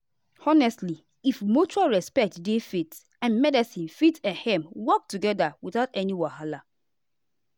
honestly if mutual respect dey faith and medicine fit ehm work together without any wahala.